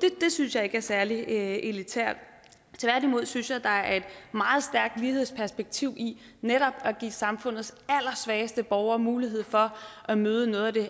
det synes jeg ikke er særlig elitært tværtimod synes jeg der er et meget stærkt lighedsperspektiv i netop at give samfundets allersvageste borgere mulighed for at møde noget af det